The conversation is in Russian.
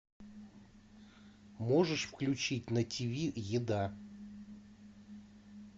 можешь включить на тв еда